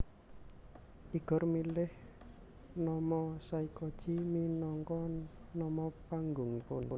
Igor milih nama Saykoji minangka nama panggungipun